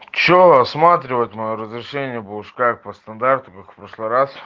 что осматривает моё разрешение будешь как по стандарту как в прошлый раз